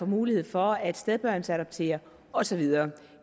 mulighed for at stedbørnsadoptere og så videre